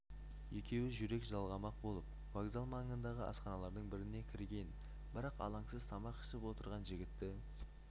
екеуі жүрек жалғамақ болып вокзал маңындағы асханалардың біріне кірген бірақ алаңсыз тамақ ішіп отырған жігітті